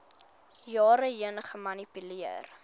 jare heen gemanipuleer